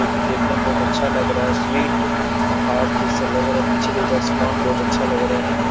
जो की देखने में बहुत ही अच्छा लग रहा है स्वीट हॉट जैसा लग रहा है पीछे से इस का सामान बहुत अच्छा लग रहा है।